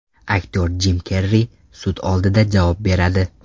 Aktyor Jim Kerri sud oldida javob beradi.